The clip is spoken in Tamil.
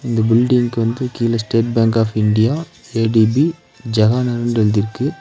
இந்த பில்டிங்கு வந்து கீழ ஸ்டேட் பேங்க் ஆஃப் இந்தியா எ_டி_பி ஜெஹாநன்ட்னு எழுதிருக்கு.